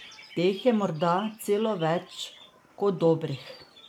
Teh je morda celo več kot dobrih!